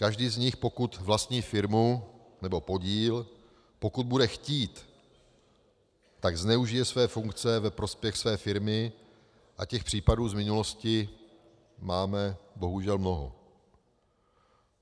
Každý z nich, pokud vlastní firmu nebo podíl, pokud bude chtít, tak zneužije své funkce ve prospěch své firmy - a těch případů z minulosti máme bohužel mnoho.